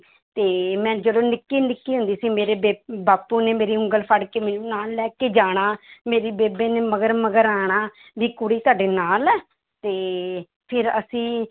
ਤੇ ਮੈਂ ਜਦੋਂ ਨਿੱਕੀ ਨਿੱਕੀ ਹੁੰਦੀ ਸੀ ਮੇਰੇ ਬੇ~ ਬਾਪੂ ਨੇ ਮੇਰੀ ਉਂਗਲ ਫੜ੍ਹ ਕੇ ਮੈਨੂੰ ਨਾਲ ਲੈ ਕੇ ਜਾਣਾ ਮੇਰੀ ਬੇਬੇ ਨੇ ਮਗਰ ਮਗਰ ਆਉਣਾ ਵੀ ਕੁੜੀ ਤੁਹਾਡੇ ਨਾਲ ਹੈ ਤੇ ਫਿਰ ਅਸੀਂ